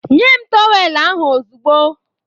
Nye m tọweelụ ahụ ozugbo!